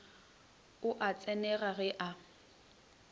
o a tsenega ge a